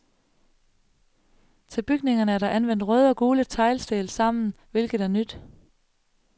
Til bygningerne er der anvendt røde og gule teglsten sammen, hvilket er nyt.